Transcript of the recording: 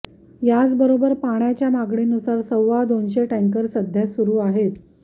याचबरोबर पाण्याच्या मागणी नुसार सव्वा दोनशे टँकर सध्या सुरु आहेत